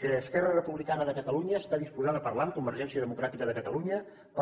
que esquerra republicana de catalunya està disposada a parlar amb convergència democràtica de catalunya per